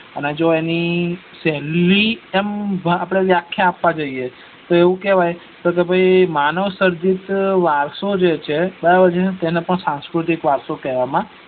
અને જો એની પેલ્લી આમ વ્યખા આપવા જઈએ તો એના તો એવું કહેવાય કે તો ભાઈ માનવ સર્જિત વારસો જે છે બરાબર છે તો તેને સાંસ્કૃતિક વારસો કેવામાં